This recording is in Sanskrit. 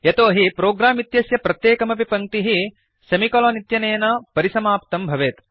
यतोहि प्रोग्राम् इत्यस्य प्रत्येकमपि पङ्क्तिः सेमिकोलन् इत्यनेन परिसमाप्तं भवेत्